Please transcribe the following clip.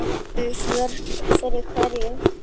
En vörn fyrir hverju?